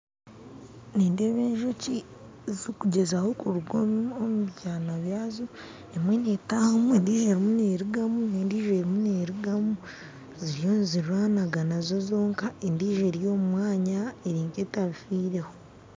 Nindeeba enjoki zikugyezaho kuruga omu omu byana byazo, emwe nitahamu endiijo erimu nerugaamu nendiijo erimu nerugaamu, ziriyo nizirwanagana zonka, endiijo eri omu mwanya eri nketabifireho.